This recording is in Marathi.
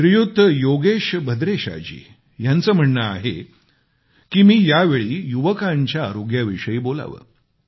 श्रीयुत योगेश भद्रेशाजी यांचे म्हणणे आहे की मी यावेळी युवकांच्या आरोग्याविषयी बोलावे